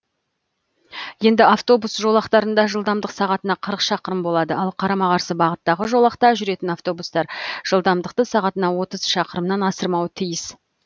енді автобус жолақтарында жылдамдық сағатына қырық шақырым болады ал қарама қарсы бағыттағы жолақта жүретін автобустар жылдамдықты сағатына отыз шақырымнан асырмауы тиіс